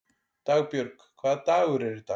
Dagbjörg, hvaða dagur er í dag?